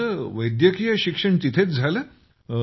तुमचे वैद्यकीय शिक्षण तिथेच झाले आहे